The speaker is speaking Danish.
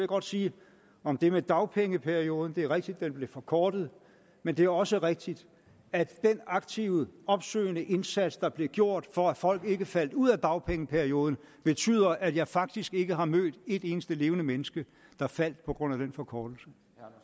godt sige om det med dagpengeperioden at det er rigtigt at den blev forkortet men det er også rigtigt at den aktive opsøgende indsats der blev gjort for at folk ikke faldt ud af dagpengeperioden betyder at jeg faktisk ikke har mødt et eneste levende menneske der faldt på grund af den forkortelse